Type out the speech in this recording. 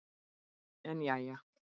En jæja.